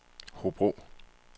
Hobro